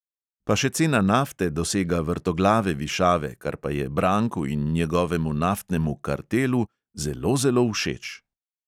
Pa še cena nafte dosega vrtoglave višave, kar pa je branku in njegovemu naftnemu "kartelu" zelo, zelo všeč!